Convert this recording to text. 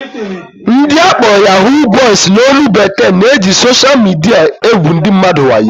Ndị akpọrọ "Yahoo boys" n'olu bekee na-eji sosha midia egwu ndị mmadụ wayo